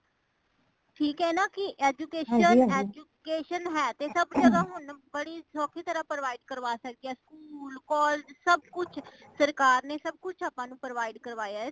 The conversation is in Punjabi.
ਠੀਕ ਹੈ ਨਾ ਕੀ education education ਹੈ ਤੇ ਸਬ ਜਗਹ ਹੁਣ ਬੜੀ ਸੋਖੀ ਤਰਾਂ provide ਕਰਾ ਸਕਦੇ school ,collage ਸਬ ਕੁਛ ਸਰਕਾਰ ਨੇ ਸਬ ਕੁਛ ਆਪਾ ਨੂੰ provide ਕਰਾਇਆ ਹੈ।